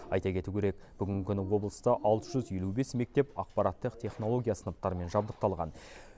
айта кету керек бүгінгі күні облыста алты жүз елу бес мектеп ақпараттық технология сыныптарымен жабдықталған